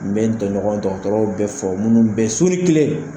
N bɛ n tɔɲɔgɔn dɔgɔtɔrɔw bɛ fo, minnu bɛɛ su ni kile